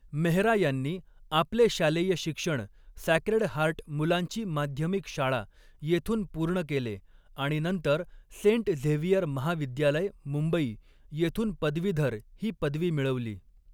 मेहरा यांनी आपले शालेय शिक्षण सॅक्रेड हार्ट मुलांची माध्यमिक शाळा येथून पूर्ण केले आणि नंतर सेंट झेवियर महाविद्यालय, मुंबई येथून पदवीधर ही पदवी मिळवली.